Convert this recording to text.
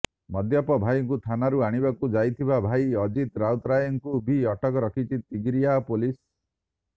ମଦ୍ୟପ ଭାଈକୁ ଥାନାରୁ ଆଣିବାକୁ ଯାଇଥିବା ଭାଇ ଅଜିତ୍ ରାଉତରାୟକୁ ବି ଅଟକ ରଖିଛି ତିଗିରିଆ ପୋଲିସ